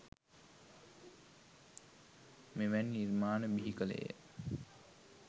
මෙවැනි නිර්මාණ බිහි කළේය